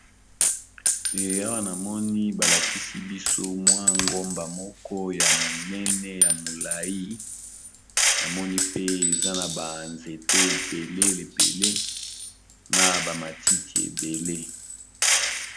Awa namoni balakisi biso mwa ngomba moko ya monene ya molai namoni pe eza na ba nzete ebele na bamatiti ebele